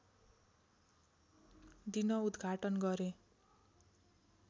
दिन उद्घाटन गरे